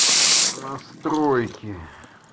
а настройки